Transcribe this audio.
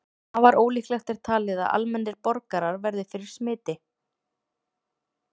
Afar ólíklegt er talið að almennir borgarar verði fyrir smiti.